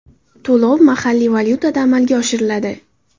To‘lov mahalliy valyutada amalga oshiriladi.